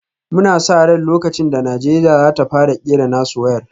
Muna sa ran lokacin da Najeriya za ta fara kera nasu wayar